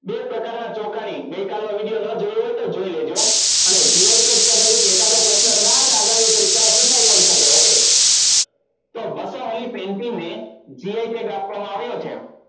બે પ્રકારના ચોખાની ગઈકાલ નો video ન જોયો હોય તો જોઈ લેજે. અને gi tag સંબંધિત એકાદો પ્રશ્ન કદાચ આગામી પરીક્ષા માં પુછાય પણ શક્યો. કે okay તો બસો વાળી painting ને gi tag આપવામાં આવ્યો છે.